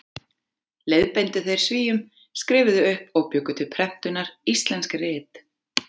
Leiðbeindu þeir Svíum, skrifuðu upp og bjuggu til prentunar íslensk rit.